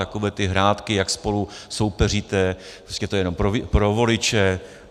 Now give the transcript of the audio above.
Takové ty hrátky, jak spolu soupeříte, prostě to je jenom pro voliče.